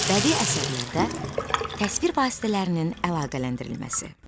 Bədii əsərlərdə təsvir vasitələrinin əlaqələndirilməsi.